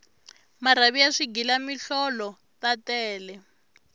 marhavi ya swighila mihlolo ta tele